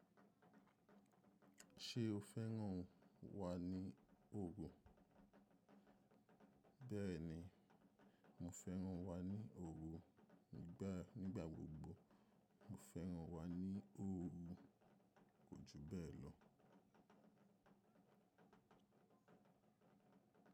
Ṣé o fẹ́ràn wa ní òògùn? Bẹ́ẹ̀ni, mo fẹ́ràn wa ní òògùn. Nígbà gbogbo mo fẹ́ràn wa ní òògùn. Kò ju bẹ́ẹ̀ lọ.